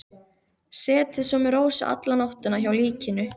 Setið svo með Rósu alla nóttina hjá líkinu.